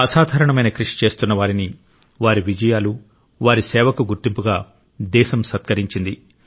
అసాధారణమైన కృషి చేస్తున్న వారిని వారి విజయాలు వారి సేవకు గుర్తింపుగా దేశం సత్కరించింది